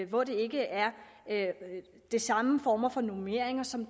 hvor der ikke er de samme former for normeringer som